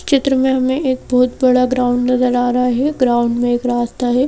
चित्र में हमें एक बहुत बड़ा ग्राउंड नजर आ रहा है ग्राउंड में एक रास्ता है।